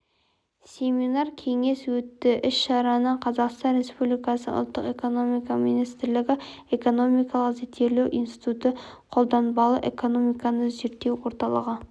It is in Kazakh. семинар-кеңес өтті іс-шараны қазақстан республикасының ұлттық экономика министрлігі экономикалық зерттеулер институты қолданбалы экономиканы зерттеу орталығы